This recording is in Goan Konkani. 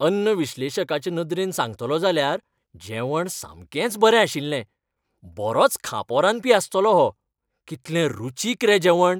अन्न विश्लेशकाचे नदरेन सांगतलों जाल्यार जेवण सामकेंच बरें आशिल्लें. बरोच खांपो रांदपी आसतलो हो. कितलें रुचीक रे जेवण!